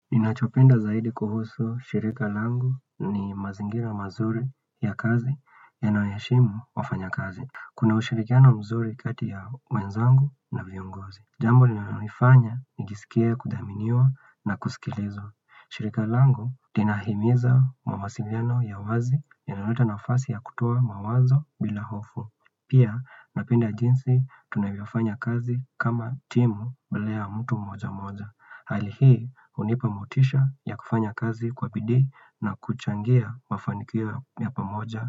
Ninachopenda zaidi kuhusu shirika langu ni mazingira mazuri ya kazi yanayoheshimu wafanya kazi. Kuna ushirikiano mzuri kati ya wenzangu na viungozi. Jambo lilanoifanya nijisikie kudaminiwa na kusikilizwa. Shirika langu linahimiza mawasiliano ya wazi yanayoleta nafasi ya kutoa mawazo bila hofu. Pia napenda jinsi tunavyofanya kazi kama timu badala ya mtu mmoja mmoja. Hali hii hunipa motisha ya kufanya kazi kwa bidii na kuchangia mafanikio ya pamoja.